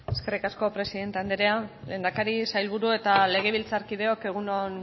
eskerrik asko presidente anderea lehendakari sailburu eta legebiltzarkideok egun on